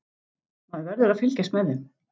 Maður verður að fylgjast með þeim.